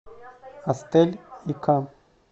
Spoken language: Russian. астэль и к